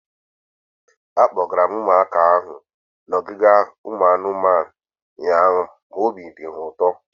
Akpọgara m ụmụaka ahu n'ogige ụmụ anụmanụ ụnyaahụ ma obi dị ha ụtọ